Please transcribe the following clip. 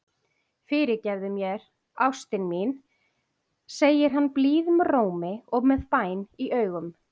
Fyrirgefðu mér, elsku ástin mín, segir hann blíðum rómi og með bæn í augum.